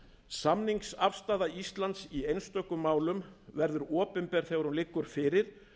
samningsafstaða íslands í einstökum málum verður opinber þegar hún liggur fyrir